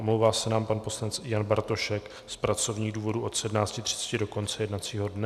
Omlouvá se nám pan poslanec Jan Bartošek z pracovních důvodů od 17.30 do konce jednacího dne.